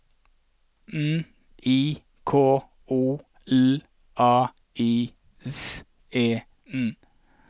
N I K O L A I S E N